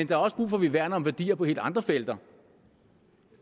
der er også brug for at vi værner om værdier på helt andre felter